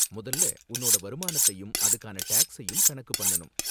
முதல்ல உன்னோட வருமானத்தையும் அதுக்கான டேக்ஸையும் கணக்கு பண்ணனும்.